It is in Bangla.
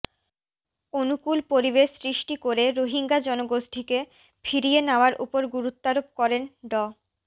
অনুকুল পরিবেশ সৃষ্টি করে রোহিঙ্গা জনগোষ্ঠীকে ফিরিয়ে নেওয়ার ওপর গুরুত্বারোপ করেন ড